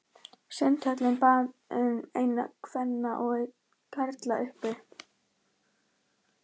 Sundhöllinni og bað um einn kvenna og einn karla, uppi.